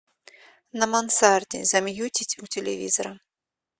на мансарде замьютить у телевизора